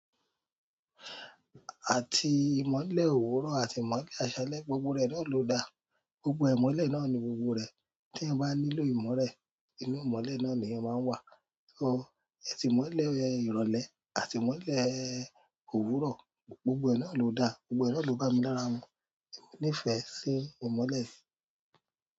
Àti ìmọ́lẹ̀ òwúrọ̀ àti ìmọ́lẹ̀ àṣálẹ́, gbogbo rẹ̀ náà ló da. Gbogbo ìmọ́lẹ̀ náà ni gbogbo rẹ̀. Teeyan ba nílò imole inú imole náà leeyan maa n wa. So, ẹtì mọlẹ̀ ìrọ̀lẹ́ àti mọlẹ̀ òwúrọ̀, gbogbo ẹ nàa ló dá, gbogbo ẹ náà ló bá mi lára mu. Mo nífẹ̀ẹ́ sí ìmọ́lẹ̀.